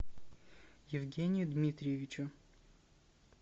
евгению дмитриевичу